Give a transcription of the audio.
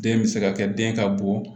Den bɛ se ka kɛ den ka bon